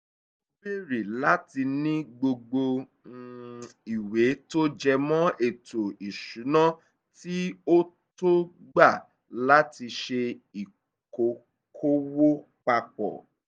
ó béèrè láti ní gbogbo um ìwé tó jẹ mọ́ ètò ìṣúná kí ó tó gbà láti ṣe ìkókòwò papọ̀